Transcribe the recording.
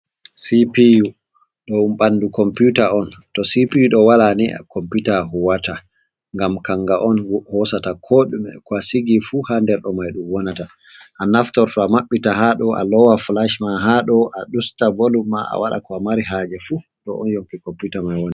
Cpu, do mbandu komputa on to cpu do wala ni a komputa huwata gam kanga on hosata ko dume ko a sigi fu ha nder do mai dum wonata a naftorta mabbita hado a lowa flash ma hado a usta volum ma a waɗa ko a mari haje fu do on yonki komputa mai woni.